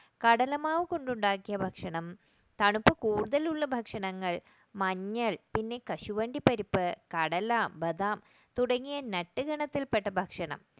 കടലമാവ് കൊണ്ട് ഉണ്ടാക്കിയ ഭക്ഷണം തണുപ്പ് കൂടുതലുള്ള ഭക്ഷണങ്ങൾ മഞ്ഞൾ പിന്നെ കശുവണ്ടി പരിപ്പ് കടല ബദാം തുടങ്ങിയ nut ഗണത്തിൽപ്പെട്ട ഭക്ഷണം